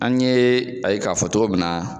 An ɲe a ye k'a fɔ cogo min na.